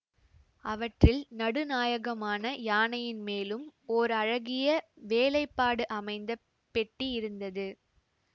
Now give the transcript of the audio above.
அவற்றில் நடுநாயகமான யானையின் மேலும் ஓர் அழகிய வேலைப்பாடு அமைந்த பெட்டி இருந்தது